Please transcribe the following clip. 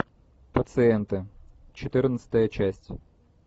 пациенты четырнадцатая часть